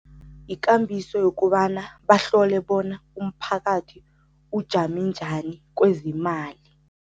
Yikambiso yokobana bahlole bona umphakathi ujame njani kwezemali.